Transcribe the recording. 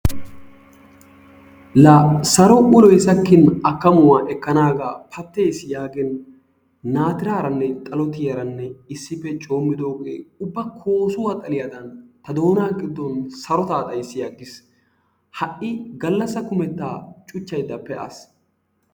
La saro uloyi sakkin akkamuwa ekkanaagaa patteesi yaagin naatiraaranne xalotiyaranne issippe coommidoogee ubba koosuwa xaliyadan ta doonaa giddon sarotaa xayssi aggis. Ha"i gallassa kumettaa cuchchaydda pe'aas.